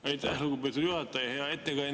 Aitäh, lugupeetud juhataja!